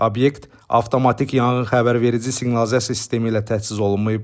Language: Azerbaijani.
Obyekt avtomatik yanğın xəbərverici siqnalizasiya sistemi ilə təchiz olunmayıb.